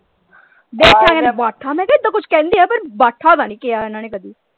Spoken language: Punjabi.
ਬੇਠਾ ਕਹਿੰਦੇ ਬਾਠਾ ਮੈਂ ਕਿਹਾ ਏਦਾਂ ਕੁਝ ਕਹਿੰਦੇ ਆ ਪਰ ਬਾਠਾ ਤੇ ਨਹੀਂ ਕਿਹਾ ਇਹਨਾਂ ਨੇ ਕਦੀ।